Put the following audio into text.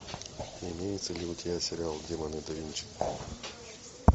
имеется ли у тебя сериал демоны да винчи